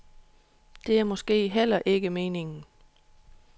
Det er måske heller ikke meningen.